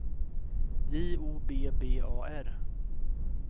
J O B B A R